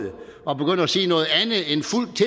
at sige noget af